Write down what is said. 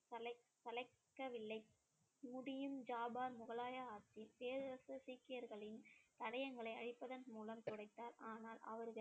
சளைக்கவில்லை முடியும் ஜாபார் முகலாய ஆட்சி பேரரசு சீக்கியர்களின் தடயங்களை அழிப்பதன் மூலம் துடைத்தார் ஆனால் அவர்கள்